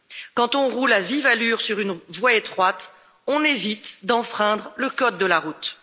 Quand on roule à vive allure sur une voie étroite, on évite d'enfreindre le code de la route.